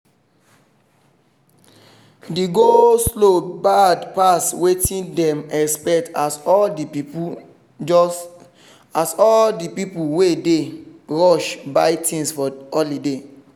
the go-slow bad pass wetin them expect as all the pipu wey dey rush buy things for holiday